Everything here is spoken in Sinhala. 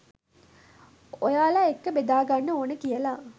ඔයාල එක්ක බෙදා ගන්න ඕනි කියල